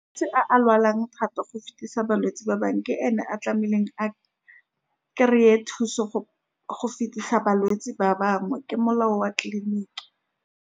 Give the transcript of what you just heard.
a a lwalang thata, go fetisa balwetse ba bangwe, ke ene a tlamehileng a kry-e thuso. Go fetisa balwetse ba bangwe ke molao wa tleliniki.